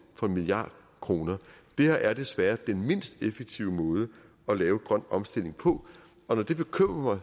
for en milliard kroner det her er desværre den mindst effektive måde at lave grøn omstilling på og når det bekymrer mig